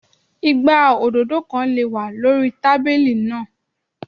Igbá òdòdó kan lè wà lórí tábílì náà.